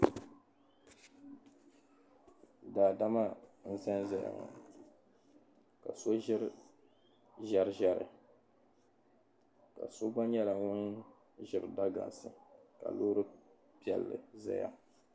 Daadama n-zanzaya ŋɔ ka so ʒiri ʒiɛriʒiɛri ka so gba nyɛla ŋun ʒiri dagansi ka loori piɛlli zaya.